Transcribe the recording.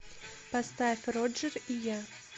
поставь роджер и я